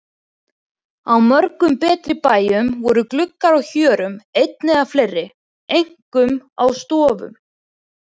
Á mörgum betri bæjum voru gluggar á hjörum einn eða fleiri, einkum á stofum.